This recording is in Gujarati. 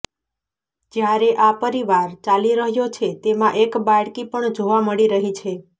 જયારે આ પરિવાર ચાલી રહ્યો છે તેમાં એક બાળકી પણ જોવા મળી રહી છે